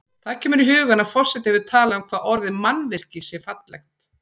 Það kemur í hugann að forseti hefur talað um hvað orðið mannvirki sé fallegt.